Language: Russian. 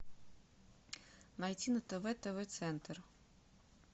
найти на тв тв центр